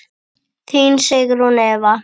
Þín Sigrún Eva.